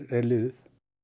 er liðið